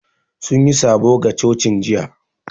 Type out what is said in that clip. Sun yi sabo ga cocin jiya